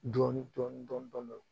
Dɔɔnin dɔɔnin dɔɔnin